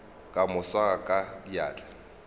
ka mo swara ka diatla